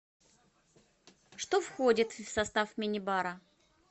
что входит в состав минибара